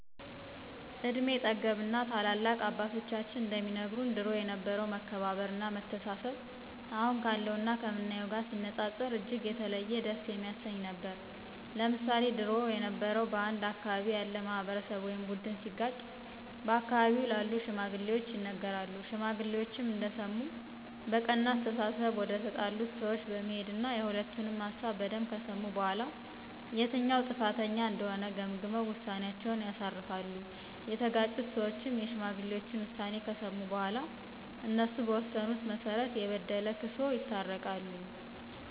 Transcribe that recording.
እድሜ ጠገብ እና ታላላቅ አባቶቻችን እንደሚነግሩን ድሮ የነበረው መከባበር እና መተሳሰብ አሁን ካለው እና ከምናየው ጋር ሲነጻጸር እጅግ የተለየ ደስ የሚያሰኝ ነበር። ለምሳሌ ድሮ የበረው በአንድ አካባቢ ያለ ማህበረሰብ ወይም ቡድን ሲጋጭ በአካባቢው ላሉ ሽማግሌዎች ይነገራሉ ሽማግሌዎችም እንደሰሙ በቀና አስተሳሰብ ወደተጣሉት ሰወች በመሄድና የሁለቱንም ሀሳብ በደንብ ከሰሙ በኋላ የትኛው ጥፋተኛ እንደሆነ ገምግመው ውሳኔአቸውን ያሳርፋሉ፤ የተጋጩት ሰዎችም የሽማግሌዎችን ውሳኔ ከሰሙ በኋላ እነሱ በወሰኑት መሰረት የበደለ ክሶ ይታረቃሉ።